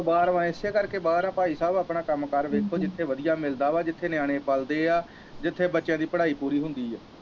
ਬਾਹਰ ਹੈ ਇਸੇ ਕਰਕੇ ਬਾਹਰ ਹੈ ਭਾਈ ਸਾਹਿਬ ਆਪਣਾ ਕੰਮ ਕਾਰ ਵੇਖੋ ਜਿੱਥੇ ਵਧੀਆ ਮਿਲਦਾ ਵਾ ਜਿੱਥੇ ਨਿਆਣੇ ਪਲਦੇ ਹੈ ਜਿੱਥੇ ਬੱਚਿਆਂ ਦੀ ਪੜ੍ਹਾਈ ਪੂਰੀ ਹੁੰਦੀ ਹੈ।